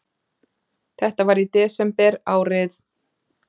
Þetta var í desember árið